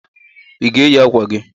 I ga eyi aka ukwu?